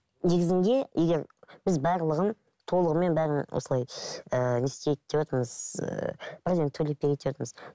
негізінде егер біз барлығын толығымен бәрін осылай ыыы не істейік девотырмыз ыыы бірден төлеп берейік девотырмыз